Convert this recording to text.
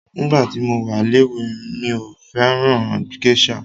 Nígbà tí mo wa léwe mí ò fẹ́ràn gésà.